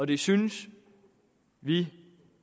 det synes vi